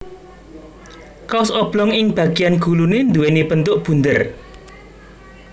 Kaos oblong ing bagéyan guluné nduwèni bentuk bunder